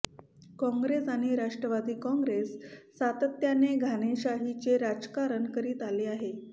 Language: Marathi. काँग्रेस आणि राष्ट्रवादी काँग्रेस सातत्याने घराणेशाहीचे राजकारण करीत आले आहे